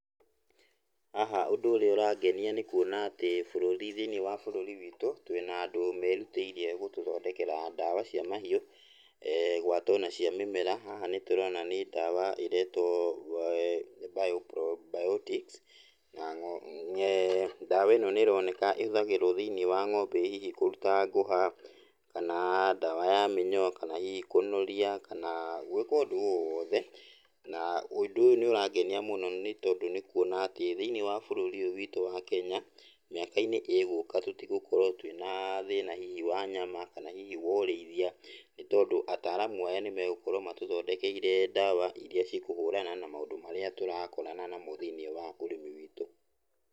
Haha ũndũ ũrĩa ũrangenia nĩ kũona atĩ bũruri ,thĩinĩ wa bũrũri witũ twĩ na andũ merutĩire gũtũthondekera ndawa cia mahiũ gweta ona cia mũmera, haha nĩũrona nĩ dawa ĩretwo [Bio probiotics] na ndawa ĩno nĩronekana ĩhuthagĩrwa thĩinĩ wa ng'ombe hihi kũruta ngũha, kana ndawa ya minyoo, kana hihi kũnũria na gwĩka ũndũ owothe na ũndũ ũyũ nĩũrangenia mũno nĩ tondũ nĩ kwona atĩ thĩinĩ wa bũrũri ũyũ witu wa Kenya mĩakainĩ ĩ gũka tũtĩgũkorwo twĩna thĩna hihi wa nyama, kana hihi wo ũrĩithia, nĩtondũ ataramu aya nĩmegũkorwo matũthondekeire ndawa iria cikũhũrana na maũndũ marĩa tũrakorana namo thĩinĩ wa ũrĩmi witũ.